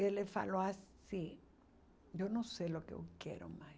Ele falou assim, eu não sei o que eu quero mais.